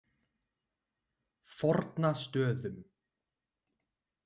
Fornastöðum